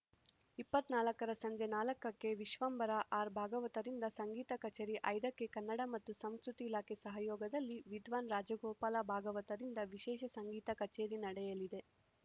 ಇಪ್ಪತ್ತ್ ನಾಲ್ಕರ ಸಂಜೆ ನಾಲ್ಕಕ್ಕೆ ವಿಶ್ವಂಭರ ಆರ್‌ಭಾಗವತರಿಂದ ಸಂಗೀತ ಕಚೇರಿ ಐದಕ್ಕೆ ಕನ್ನಡ ಮತ್ತು ಸಂಸ್ಕೃತಿ ಇಲಾಖೆ ಸಹಯೋಗದಲ್ಲಿ ವಿದ್ವಾನ್‌ ರಾಜಗೋಪಾಲ ಭಾಗವತರಿಂದ ವಿಶೇಷ ಸಂಗೀತ ಕಚೇರಿ ನಡೆಯಲಿದೆ